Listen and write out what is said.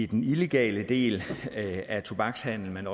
den illegale del af tobakshandlen man